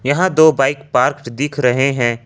यहां दो bike park दिख रहे हैं।